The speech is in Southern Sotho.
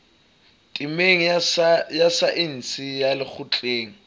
temeng ya saense ya lekgotleng